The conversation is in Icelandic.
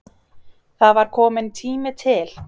Það var kominn tími til.